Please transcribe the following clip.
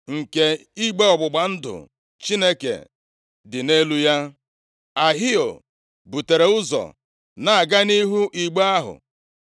nke igbe ọgbụgba ndụ Chineke dị nʼelu ya, Ahio butere ụzọ na-aga nʼihu igbe ahụ.